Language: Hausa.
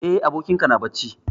Eh, abokin ka na bacci.